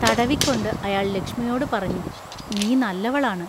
തടവിക്കൊണ്ട് അയാൾ ലക്ഷ്മിയോട് പറഞ്ഞു:നീ നല്ലവളാണ്.